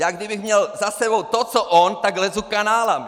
Já kdybych měl za sebou to, co on, tak lezu kanály.